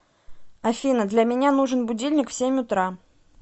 афина для меня нужен будильник в семь утра